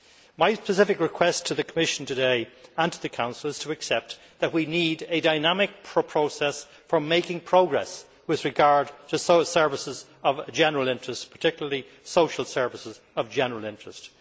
My specific request to the Commission today, and to the Council, is to accept that we need a dynamic process for making progress with regard to services of general interest, particularly social services of general interest.